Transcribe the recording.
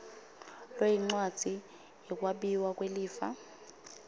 loyincwadzi yekwabiwa kwelifa